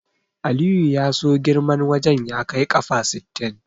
Aliyu ya so girman wajen ya kai ƙafa sittin.